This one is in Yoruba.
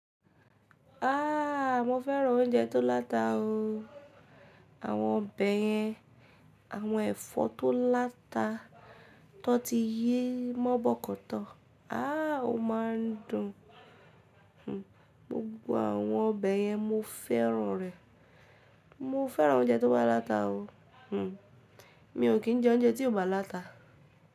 Aaa mo fẹ́ràn oúnjẹ tó láta o. Àwọn ọbẹ̀ yẹn, àwọn ẹ̀fọ́ tó láta tó ti yé mọ́ bọ̀koto, aá o máa ń dùn. Gbogbo àwọn ọbẹ̀ yẹn mo fẹ́ràn rẹ̀. Mo fẹ́ràn oúnjẹ tó bá láta o. Mi ò kí ń jẹ oúnjẹ tí kò bá láta.